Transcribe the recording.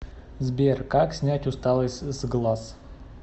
сбер как снять усталость с глаз